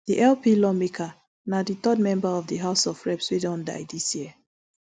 di lp lawmaker na di third member of di house of reps wey don die dis year